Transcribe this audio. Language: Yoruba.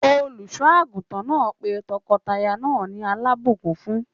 Olùṣọ àgùntàn náà pé tọkọtaya náà ní alabukún fún.